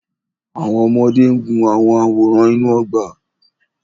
Àwọn ọmọdé ń gun àwọn àwòrán inú ọgbà.